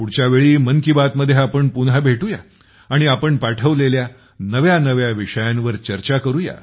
पुढच्या वेळी मन की बात मध्ये आपण पुन्हा भेटू या आणि आपण पाठवलेल्या नव्या नव्या विषयांवर चर्चा करू या